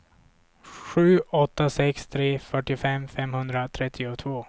sju åtta sex tre fyrtiofem femhundratrettiotvå